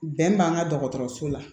Bɛn b'an ka dɔgɔtɔrɔso la